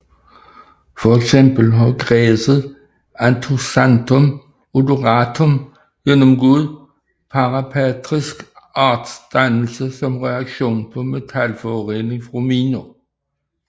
For eksempel har græsset Anthoxanthum odoratum gennemgået parapatrisk artsdannelse som reaktion på metalforurening fra miner